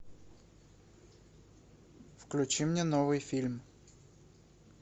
включи мне новый фильм